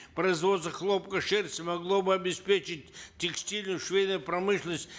производство хлопка шерсти могло бы обеспечить текстильную швейную промышленность